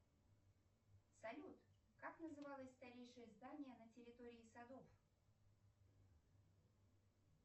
салют как называлось старейшее здание на территории садов